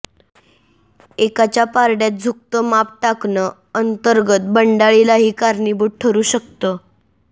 एकाच्या पारड्यात झुकतं माप टाकणं अंतर्गत बंडाळीलाही कारणीभूत ठरु शकतं